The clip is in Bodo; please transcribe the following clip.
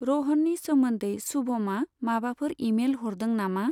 रहननि सोमोन्दै सुभमा माबाफोर इमेल हरदों नामा?